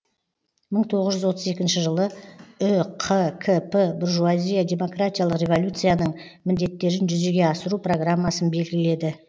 мың тоғыз жүз отыз екінші жылы үқкп буржуазия демократиялық революцияның міндеттерін жүзеге асыру программасын белгіледі